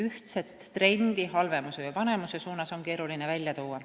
Ühtset trendi halvemuse või paremuse poole on keeruline esile tuua.